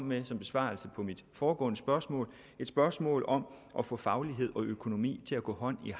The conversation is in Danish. ministeren svarede på mit foregående spørgsmål et spørgsmål om at få faglighed og økonomi til at gå hånd i